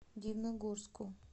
дивногорску